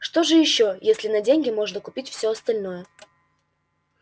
что же ещё если на деньги можно купить все остальное